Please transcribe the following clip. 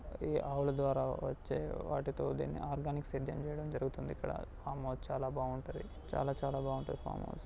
ఈ ఆవుల ద్వారా వచ్చే వాటితో దీన్ని ఆర్గానిక్ సేద్యం చేయడం జరుగుతుంది ఇక్కడ ఫామ్ హౌస్ చాలా బాగుంటుంది. చాలా చాలా బావుంటుంది ఫామ్ హౌస్.